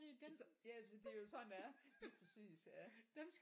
Så ja det er jo sådan det er lige præcis ja